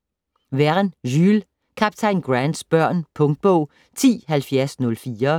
Verne, Jules: Kaptajn Grants børn Punktbog 107004